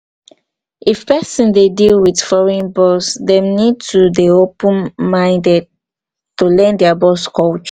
if person dey deal with foreign boss dem need to dey open minded to learn their boss culture